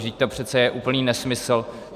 Vždyť to přece je úplný nesmysl.